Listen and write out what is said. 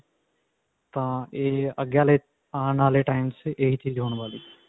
ਤਾਂ ਇਹ ਅੱਗੇ ਵਾਲੇ ਆਉਣ ਵਾਲੇ time ਵਿੱਚ ਇਹੀ ਚੀਜ਼ ਹੋਣ ਵਾਲੀ ਹੈ.